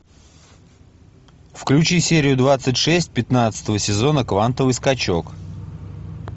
включи серию двадцать шесть пятнадцатого сезона квантовый скачок